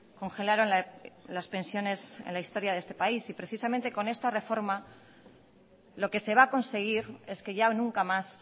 congelaron las pensiones en la historia de este país y precisamente con esta reforma lo que se va a conseguir es que ya nunca más